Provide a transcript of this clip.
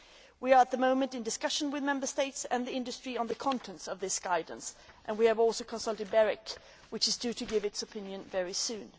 We are at the moment in discussion with Member States and the industry on the contents of this guidance. We have also consulted BEREC, which is due to give its opinion very soon.